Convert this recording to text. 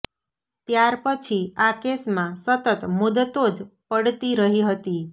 ત્યારપછી આ કેસમાં સતત મુદતો જ પડતી રહી હતી